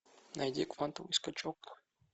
найди квантовый скачок